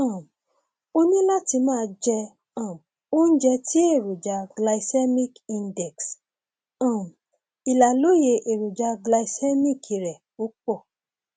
um o ní láti máa jẹ um oúnjẹ tí èròjà glycemic index um ìlàlóye èròjà glycemic rẹ ò pọ